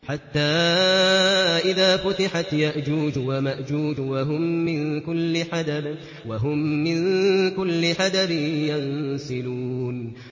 حَتَّىٰ إِذَا فُتِحَتْ يَأْجُوجُ وَمَأْجُوجُ وَهُم مِّن كُلِّ حَدَبٍ يَنسِلُونَ